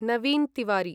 Naveen Tiwari